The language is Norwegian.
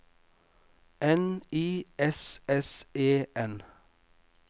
N I S S E N